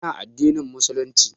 Ina addinin Musulunci